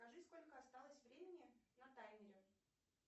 скажи сколько осталось времени на таймере